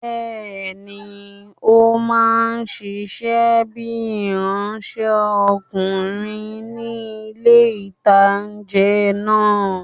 Bẹ́ẹ̀ni,ó máa ṣiṣẹ́ bíi ìránsẹ́kùnrin ní ilé-ìtánjẹ náà